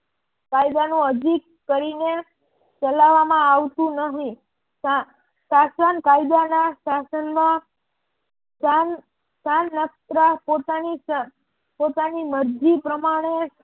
કાયદાનું અરજી કરીને ચલાવવામાં આવતું નહિ શાસન કાયદાના શાસનમાં પોતાની મરજી પ્રમાણે